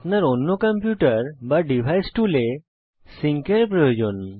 আপনার অন্য কম্পিউটার বা ডিভাইস টুলে সিঙ্ক এর প্রয়োজন